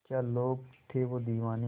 क्या लोग थे वो दीवाने